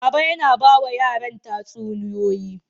Baba yana ba wa yaran tatsuniyoyi.